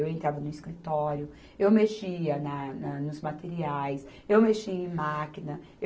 Eu entrava no escritório, eu mexia na, na, nos materiais, eu mexia em máquina. Eu